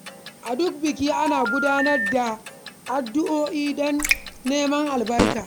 A duk biki, ana gudanar da addu’o’i don neman albarka.